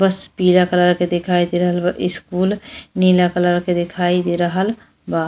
बस पीला कलर के दिखाई दे रहल बा। स्कूल नीला कलर के दिखाई दे रहल बा।